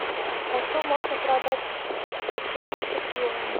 почем можно продать сто семьдесят юаней